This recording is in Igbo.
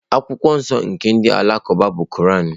Akwụkwọ nsọ nke ndị Alakụba bụ Koran.